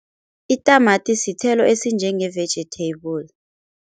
Itamati sithelo esinjenge-vegetable.